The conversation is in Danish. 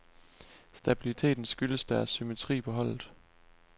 Stabiliteten skyldes deres symmetri på holdet.